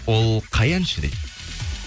ол қай әнші дейді